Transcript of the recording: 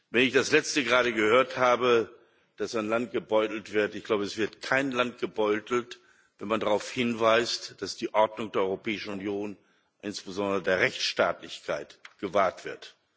Wenn ich das Letzte gerade gehört habe, dass ein Land gebeutelt wird Ich glaube, es wird kein Land gebeutelt, wenn man darauf hinweist, dass die Ordnung der Europäischen Union, insbesondere die Rechtsstaatlichkeit, gewahrt wird.